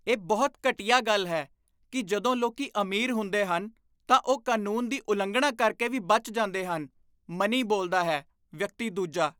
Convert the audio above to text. ਇਹ ਬਹੁਤ ਘਟੀਆ ਗੱਲ ਹੈ ਕੀ ਜਦੋਂ ਲੋਕ ਅਮੀਰ ਹੁੰਦੇ ਹਨ ਤਾਂ ਉਹ ਕਾਨੂੰਨ ਦੀ ਉਲੰਘਣਾ ਕਰਕੇ ਵੀ ਬਚ ਜਾਂਦੇ ਹਨ ਮਨੀ ਬੋਲਦਾ ਹੈ! ਵਿਅਕਤੀ ਦੂਜਾ